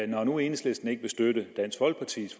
nu enhedslisten ikke vil støtte dansk folkepartis